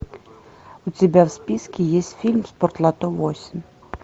у тебя в списке есть фильм спортлото восемь